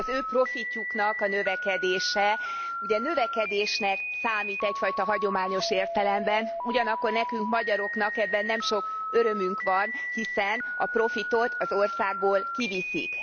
Az ő profitjuknak a növekedése ugye növekedésnek számít egyfajta hagyományos értelemben, ugyanakkor nekünk, magyaroknak ebben nem sok örömünk van, hiszen a profitot az országból kiviszik.